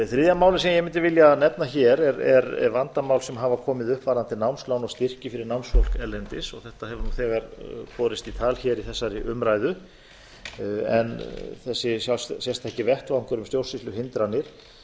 þriðja málið sem ég mundi vilja nefna er vandamál sem hafa komið upp varðandi námslán og styrki fyrir námsfólk erlendis þetta hefur þegar borist í tal í þessari umræðu en þessi sérstaki vettvangur um stjórnsýsluhindranir